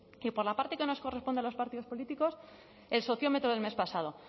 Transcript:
y por la parte que nos corresponde a los partidos políticos el sociómetro del mes pasado